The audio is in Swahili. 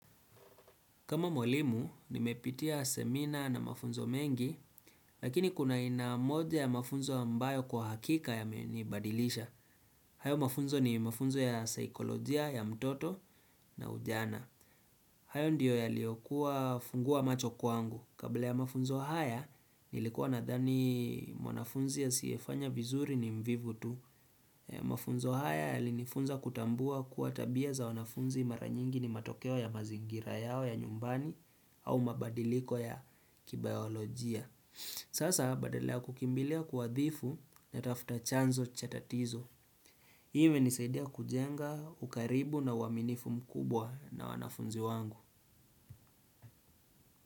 Kama mwalimu, nimepitia semina na mafunzo mengi, lakini kuna aina moja ya mafunzo ambayo kwa hakika yamenibadilisha. Hayo mafunzo ni mafunzo ya saikolojia ya mtoto na ujana. Hayo ndiyo yaliyokuwa fungua macho kwangu. Kabla ya mafunzo haya, nilikuwa nadhani mwanafunzi hasiyefanya vizuri ni mvivu tu. Mafunzo haya yalinifunza kutambua kuwa tabia za wanafunzi maranyingi ni matokeo ya mazingira yao ya nyumbani au mabadiliko ya kibayolojia Sasa badala kukimbilia kuadhibu natafuta chanzo cha tatizo hii imenisaidia kujenga ukaribu na uaminifu mkubwa na wanafunzi wangu.